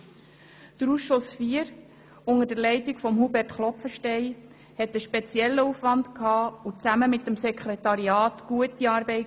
Der Ausschuss IV, unter der Leitung von Hubert Klopfenstein, hatte einen speziellen Aufwand und leistete gemeinsam mit dem Sekretariat gute Arbeit.